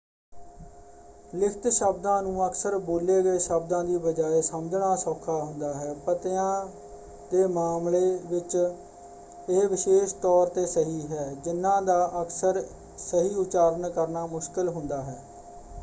ਲਿਖਤ ਸ਼ਬਦਾਂ ਨੂੰ ਅਕਸਰ ਬੋਲੇ ਗਏ ਸ਼ਬਦਾਂ ਦੀ ਬਜਾਏ ਸਮਝਣਾ ਸੌਖਾ ਹੁੰਦਾ ਹੈ। ਪਤਿਆਂ ਦੇ ਮਾਮਲੇ ਵਿੱਚ ਇਹ ਵਿਸ਼ੇਸ਼ ਤੌਰ 'ਤੇ ਸਹੀ ਹੈ ਜਿਨ੍ਹਾਂ ਦਾ ਅਕਸਰ ਸਹੀ ਉਚਾਰਨ ਕਰਨਾ ਮੁਸ਼ਕਲ ਹੁੰਦਾ ਹੈ।